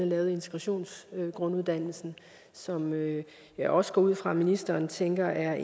lavet integrationsgrunduddannelsen som jeg også går ud fra ministeren tænker er